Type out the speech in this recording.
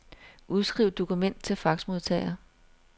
Udskriv dokument til faxmodtager.